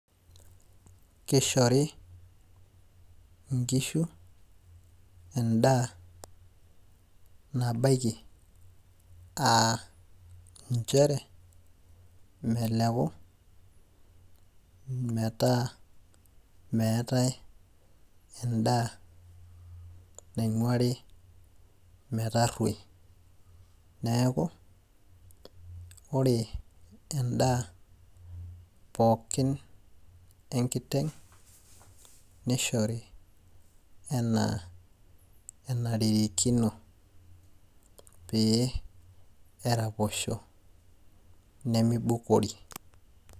Keshori inkishu endaa nabaiki ah njere, meleku metaa meetae endaa naing'uari metarruoi. Neeku, ore endaa pookin enkiteng',nishori enaa enarikino, pee eraposhi nimibukori.